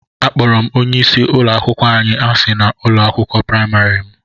Akpọrọ m onye isi ụlọ akwụkwọ anyị asị na ụlọ akwụkwọ praịmarị m